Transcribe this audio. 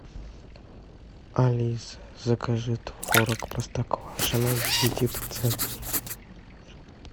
алиса закажи творог простоквашино девяти процентный